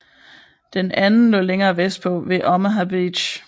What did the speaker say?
Den anden lå længere vestpå ved Omaha Beach